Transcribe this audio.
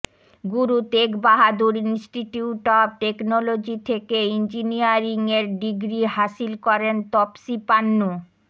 Guru Tegh Bahadur Institute of Technology থেকে ইঞ্জিনিয়রিংয়ের degree হাসিল করেন তপসি পান্নু